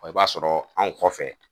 Ɔ i b'a sɔrɔ anw kɔfɛ